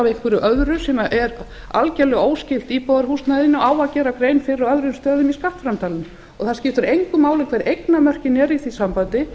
einhverju öðru sem er algerlega óskylt íbúðarhúsnæðinu á að gera grein fyrir á öðrum stöðum í skattframtalinu og það skiptir engu máli hver eignarmörkin eru í því sambandi